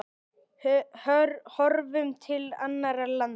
Horfum til annarra landa.